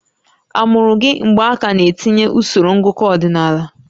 A mụrụ gị mgbe a ka na-etinye usoro ngụkọ ọdịnala?